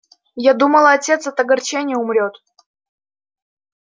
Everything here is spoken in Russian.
я думала отец от огорчения умрёт